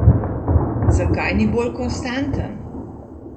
Zakaj ni bolj konstanten?